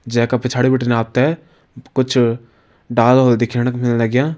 जै का पिछाड़ी बिटिन आप तें कुछ डाला होला दिखेण क मिल लग्यां।